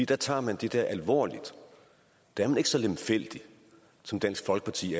der tager man dette alvorligt der er man ikke så lemfældig som dansk folkeparti